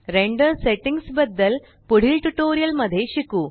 render settings बद्दल पुढील tutorial मध्ये शिकू